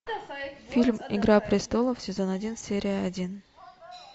фильм игра престолов сезон один серия один